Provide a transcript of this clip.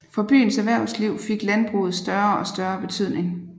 For byens erhvervsliv fik landbruget større og større betydning